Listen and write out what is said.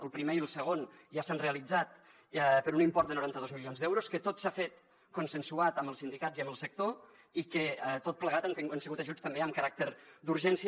el primer i el segon ja s’han realitzat per un import de noranta dos milions d’euros que tot s’ha fet consensuat amb els sindicats i amb el sector i que tot plegat han sigut ajuts també amb caràcter d’urgència